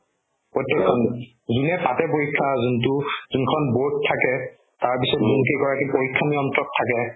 প্ৰত্যেকখন যোনে পাতে পৰীক্ষা যোনতো যোনখন board থাকে তাৰপিছত যোনকেইগৰাকী পৰীক্ষা নিয়ন্ত্ৰক থাকে